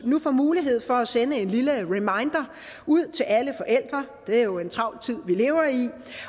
nu får mulighed for at sende en lille reminder ud til alle forældre det er jo en travl tid vi lever i